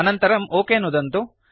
अनन्तरं ओक नुदन्तु